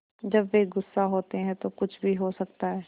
जब वे गुस्सा होते हैं तो कुछ भी हो सकता है